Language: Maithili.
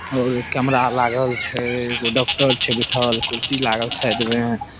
और कैमरा लागल छै एगो डॉक्टर छै बैठल कुर्सी लागल छै साइड में --